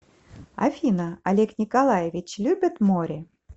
афина олег николаевич любит море